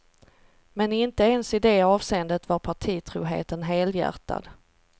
Men inte ens i det avseendet var partitroheten helhjärtad.